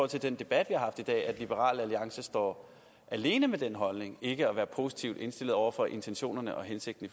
til den debat vi har haft i dag at liberal alliance står alene med den holdning ikke at være positivt indstillet over for intentionerne og hensigten